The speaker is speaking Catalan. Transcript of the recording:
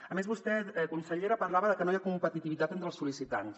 a més vostè consellera parlava que no hi ha competitivitat entre els sol·licitants